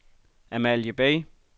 Amalie Bay